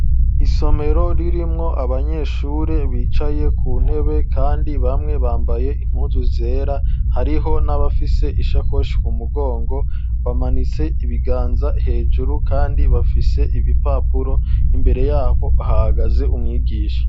Isomero, ririmwo abanyeshure, bicaye ku ntebe, kandi bamwe, bambaye impuzu zera; hariho n'abafise, ishakoshi ku mugongo, bamanitse ibiganza hejuru, kandi bafise ibipapuro; imbere y'abo, hahagaze umwigisha.